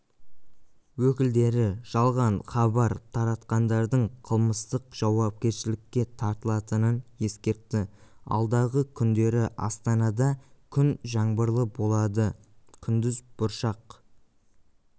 өкілдері жалған хабар таратқандардың қылмыстық жауапкершілікке тартылатынын ескертті алдағы күндері астанада күн жаңбырлы болады күндіз бұршақ